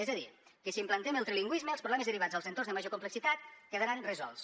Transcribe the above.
és a dir que si implementem el trilingüisme els problemes derivats dels entorns de major complexitat quedaran resolts